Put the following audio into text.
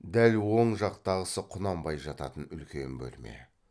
дәл оң жақтағысы құнанбай жататын үлкен бөлме